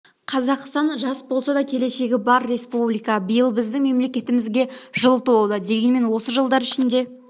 қазақстан жас болса да келешегі бар республика биыл біздің мемлекетімізге жыл толуда дегенмен осы жылдар ішінде